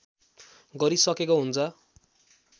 गरिसकेको हुन्छ